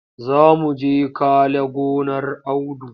Za mu je kale gonar Audu.